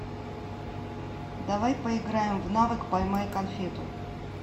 давай поиграем в навык поймай конфету